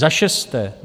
Za šesté.